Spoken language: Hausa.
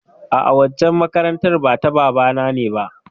A'a, waccan makarantar ba ta babana ne ba.